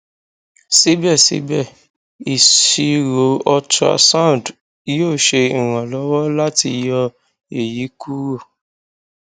sibẹsibẹ iṣiro ultrasound yoo ṣe iranlọwọ lati yọ eyi kuro